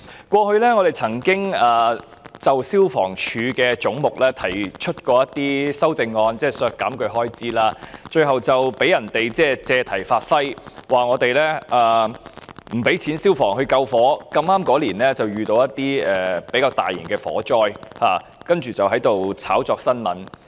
過去我們曾經就消防處的總目提出修正案，即是削減消防處的開支，最後被人借題發揮，指我們不撥款予消防處救火，剛好那一年發生較大型的火災，然後他們便藉此炒作新聞。